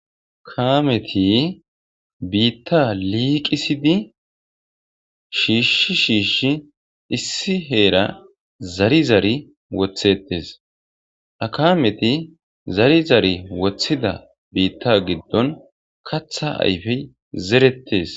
kameti biitta liiqisidi shiishshi shiishi issi heera zari zari wothettes akameti zari zari wothida biitta giddon katha ayfey zerettes